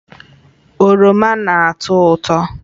Oroma na-atọ ụtọ